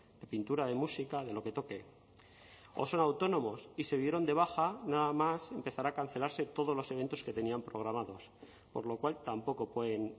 de pintura de música de lo que toque o son autónomos y se dieron de baja nada más empezar a cancelarse todos los eventos que tenían programados por lo cual tampoco pueden